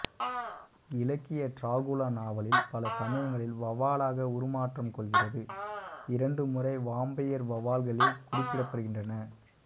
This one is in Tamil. இலக்கிய டிராகுலா நாவலில் பல சமயங்களில் வௌவாலாக உரு மாற்றம் கொள்கிறது இரண்டு முறை வாம்பயர் வௌவால்களே குறிப்பிடப்படுகின்றன